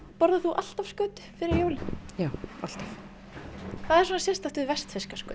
borðar þú alltaf skötu fyrir jólin já alltaf hvað er svona sérstakt við vestfirska skötu